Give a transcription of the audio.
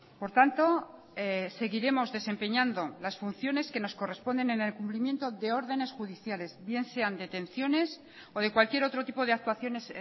por tanto seguiremos desempeñando las funciones que nos corresponden en el cumplimiento de órdenes judiciales bien sean detenciones o de cualquier otro tipo de actuaciones